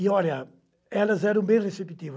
E, olha, elas eram bem receptivas.